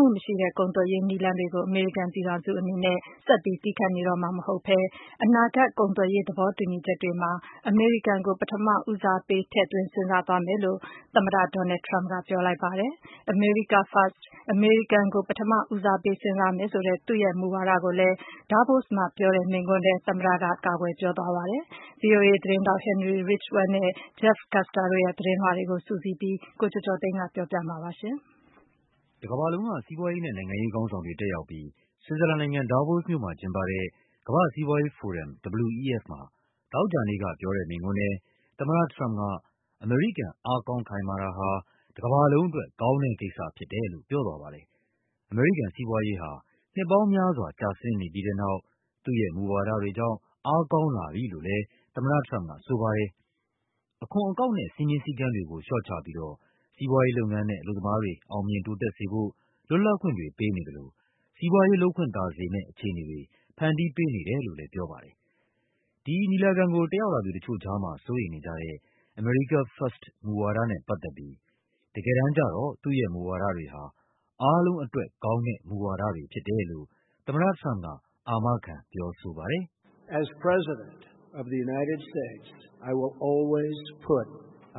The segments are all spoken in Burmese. မှုမရှိတဲ့ ကုန်သွယ်ရေးနည်းလမ်းတွေကို အမေရိကန်ပြည်ထောင်စုအနေနဲ့ ဆက်ပြီး သည်းခံနေတော့မှာ မဟုတ်ဘဲ အနာဂတ် ကုန်သွယ်ရေးသဘောတူညီချက်တွေမှာ အမေရိကန်ကို ပထမဦးစားပေး ထည့်သွင်းစဉ်းစားသွားမယ်လို့ သမ္မတ ဒေါ်နယ်လ်ဒ် ထရမ့်ပ်က ပြောလိုက်ပါတယ်။ America First အမေရိကန်ကို ပထမဦးစားပေး စဉ်းစားမယ်ဆိုတဲ့ သူ့ရဲ့မူဝါဒ ကိုလည်း Davos မှာပြောတဲ့ မိန့်ခွန်းထဲ သမ္မတထရမ့်ပ်က ကာကွယ်ပြောဆိုသွားပါတယ်။ ဗွီအိုအေသတင်းထောက် Henry Ridgwell နဲ့ Jeff Custer တို့ရဲ့သတင်းလွှာတွေကို စုစည်းပြီး ကိုကျော်ကျော်သိန်းက ပြောပြပါမယ်။ တကမ္ဘာလုံးက စီးပွားရေးနဲ့နိုင်ငံရေးခေါင်းဆောင်တွေ တက်ရောက်ပြီး ဆွစ်ဇာလန်နိုင်ငံ၊ Davos မြို့မှာကျင်းပတဲ့ ကမ္ဘာ့ စီးပွားရေးဖိုရမ် WEF မှာ သောကြာနေ့ကပြောတဲ့မိန့်ခွန်းထဲ သမ္မတထရမ့်ပ်က အမေရိကန် အားကောင်းခိုင်မာတာဟာ တကမ္ဘာ လုံးအတွက် ကောင်းတဲ့ကိစ္စဖြစ်တယ်လို့ ပြောသွားပါတယ်။ အမေရိကန်စီးပွားရေးဟာ နှစ်ပေါင်းများစွာ ကျဆင်းနေပြီးတဲ့နောက် သူ့ရဲ့မူဝါဒတွေကြောင့် အားကောင်းလာပြီလို့လည်း သမ္မတ ထရမ့်ပ်ကဆိုပါတယ်။ အခွန်အကောက်နဲ့ စည်းမျဉ်းစည်းကမ်းတွေကို လျှော့ချပြီးတော့ စီးပွားရေးလုပ်ငန်းနဲ့ အလုပ်သမားတွေ အောင်မြင်တိုးတက်စေဖို့ လွတ်လပ်ခွင့်တွေပေးနေသလို စီးပွားရေးလုပ်ခွင့်သာစေမယ့် အခြေအနေတွေ ဖန်တီးပေးနေတယ်လို့လည်း ပြောပါတယ်။ ဒီညီလာခံကို တက်ရောက်လာသူတချို့ကြားမှာ စိုးရိမ်နေကြတဲ့ America First မူဝါဒနဲ့ပတ်သက်ပြီး တကယ်တမ်းကျတော့ သူ့ရဲ့ မူဝါဒတွေဟာ အားလုံးအတွက်ကောင်းတဲ့ မူဝါဒတွေဖြစ်တယ်လို့ သမ္မတထရမ့်ပ်က အာမခံပြောဆိုပါတယ်။ “အ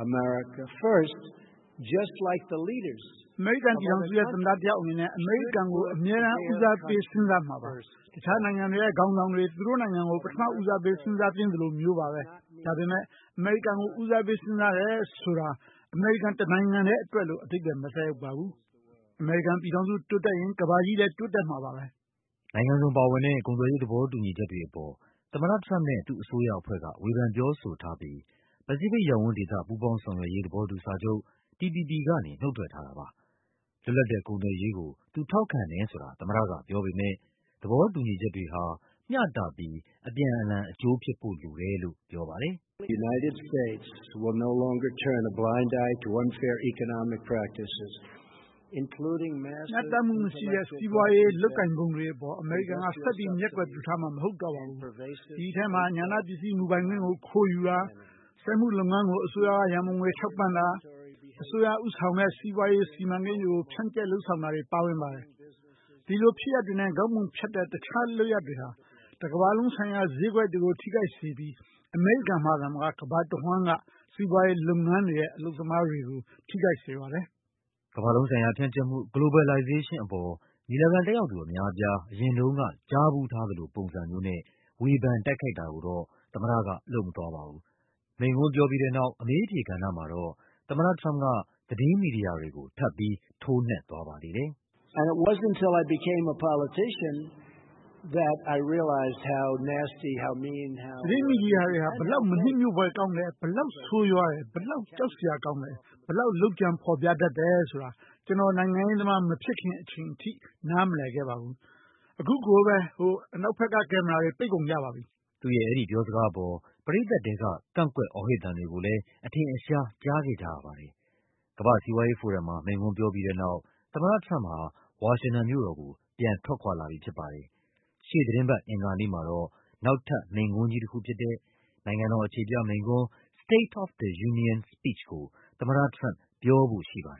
မေရိကန်ပြည်ထောင်စုရဲ့ သမ္မတအနေနဲ့ အမေရိကန်ုကို အမြဲတမ်း ဦးစားပေးစဉ်းစားမှာပါ။ တခြားနိုင်ငံတွေရဲ့ ခေါင်းဆောင်တွေ သူတို့နိုင်ငံကို ပထမဦးစားပေး စဉ်းစားသင့်သလိုမျိုးပါပဲ။ ဒါပေမဲ့ အမေရိကန်ကို ဦးစားပေးစဉ်းစားမယ်ဆိုတာ အမေရိကန်တနိုင်ငံတည်းအတွက်လို့ အဓိပ္ပါယ်မသက်ရောက်ပါဘူး။ အမေရိကန်ပြည်ထောင်စု တိုးတက်ရင် ကမ္ဘာကြီးလည်း တိုးတက်မှာပါပဲ။” နိုင်ငံစုံပါဝင်တဲ့ ကုန်သွယ်ရေးသဘောတူညီချက်တွေအပေါ် သမ္မတထရမ့်ပ်နဲ့ သူ့အစိုးရအဖွဲ့က ဝေဖန်ပြောဆိုထားပြိး ပစိဖိတ် ရပ်ဝန်းဒေသ ပူးပေါင်းဆောင်ရွက်ရေး သဘောတူစာချုပ် TPP ကနေ နုတ်ထွက်ထားတာပါ။ လွတ်လပ်တဲ့ကုန်သွယ်ရေးကို သူ ထောက်ခံတယ်ဆိုတာ သမ္မတကပြောပေမယ့် သဘောတူညီချက်တွေဟာ မျှတပြီး အပြန်အလှန်အကျိုးဖြစ်ဖို့လိုတယ်လို့ ပြောပါတယ်။ “မျှတမှုမရှိတဲ့ စီးပွားရေးလုပ်ကိုင်ပုံတွေအပေါ် အမေရိကန်က ဆက်ပြီး မျက်ကွယ်ပြုထားမှာ မဟုတ်တော့ပါဘူး။ ဒီထဲမှာ ဉာဏပစ္စည်းမူပိုင်ခွင့်ကို ခိုးယူတာ၊ စက်မှုလုပ်ငန်းကို အစိုးရက ရန်ပုံငွေထောက်ပံ့တာနဲ့ အစိုးရကဦးဆောင်တဲ့ စီးပွားရေး စီမံ ကိန်းတွေကို ဖြန့်ကျက်လုပ်ဆောင်တာတွေ ပါဝင်ပါတယ်။ ဒီလိုဖြစ်ရပ်တွေနဲ့ ခေါင်းပုံဖြတ်တဲ့ တခြားလုပ်ရပ်တွေဟာ ကမ္ဘာလုံး ဆိုင်ရာဈေးကွက်တွေကို ထိခိုက်စေပြီး အမေရိကန်မှာသာမက ကမ္ဘာတဝန်းက စီးပွားရေးလုပ်ငန်းတွေနဲ့ အလုပ်သမားတွေကို ထိခိုက်စေပါတယ်။” ကမ္ဘာလုံးဆိုင်ရာဖြန့်ကျက်မှုအပေါ် ညီလာခံတက်ရောက်သူ အများအပြား အရင်တုန်းက ကြားဖူးထားသလို ပုံစံမျိုးနဲ့ ဝေဖန် တိုက်ခိုက်တာတော့ သမ္မတကလုပ်မသွားပါဘူး။ မိန့်ခွန်းပြောပြီးတဲ့နောက် အမေးအဖြေကဏ္ဍမှာ သမ္မတထရမ့်ပ်က သတင်းမီဒီယာတွေကို ထပ်ပြီး ထိုးနှက်သွားပါသေးတယ်။ “သတင်းမီဒီယာတွေဟာ ဘယ်လောက် မနှစ်မြို့ဖွယ်ကောင်းတယ်၊ ဘယ်လောက် ဆိုးရွားတယ်၊ ဘယ်လောက် ကြောက် စရာကောင်းတယ်၊ ဘယ်လောက် လုပ်ကြံဖော်ပြတယ်ဆိုတာ ကျနော်နိုင်ငံရေးသမား မဖြစ်ခင်အချိန်ထိ နားမလည်ခဲ့ပါဘူး။ အခု ကိုပဲ အနောက်ဘက်က ကင်မရာတွေ ပိတ်ကုန်ကြပါပြီ။” သူ့ရဲ့အဲဒီပြောစကားအပေါ် ပရိသတ်ထဲက ကန့်ကွက် အော်ဟစ်သံတွေကိုလည်း အထင်အရှား ကြားခဲ့ကြရပါတယ်။ ကမ္ဘာ့စီးပွားရေးဖိုရမ်မှာ မိန့်ခွန်းပြောပြီးတဲ့နောက် သမ္မတထရမ့်ပ်ဟာ ဝါရှင်တန်မြို့တော်ကို ပြန်ထွက်ခွာလာပြီဖြစ်ပါတယ်။ ရှေ့သီတင်းပတ် အင်္ဂါနေ့မှာတော့ နောက်ထပ် မိန့်ခွန်းကြီးတခုဖြစ်တဲ့ နိုင်ငံတော်အခြေပြမိန့်ခွန်း State of the Union Speech ကို သမ္မတထရမ့်ပ် ပြောဖို့ရှိပါတယ်